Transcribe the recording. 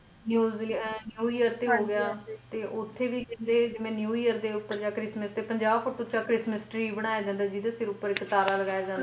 News New year ਤੇ ਹੋਗਿਆ ਤੇ ਓਥੇ ਵੀ ਕਹਿੰਦੇ ਜਿਵੇ New year ਉੱਤੇ christmas ਤੇ ਪੰਜਾਹ ਫੁੱਟ ਉੱਚਾ christmas tree ਬਣਾਇਆ ਜਾਂਦਾ ਜਿਹਦੇ ਸਿਰ ਉੱਪਰ ਇਕ ਤਾਰਾ ਲੱਗਿਆ ਜਾਂਦਾ।